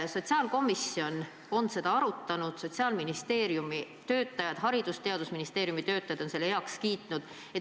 Sotsiaalkomisjon on seda arutanud, Sotsiaalministeeriumi töötajad, Haridus- ja Teadusministeeriumi töötajad on selle heaks kiitnud.